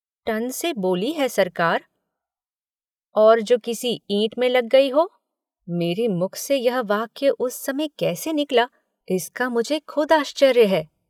Ton से बोली है सरकार और जो किसी ईट में लग गई हो, मेरे मुख से यह वाक्य उस समय कैसे निकला इसका मुझे खुद आश्चर्य है।